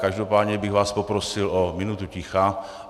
Každopádně bych vás poprosil o minutu ticha.